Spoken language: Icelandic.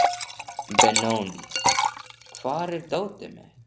Benóný, hvar er dótið mitt?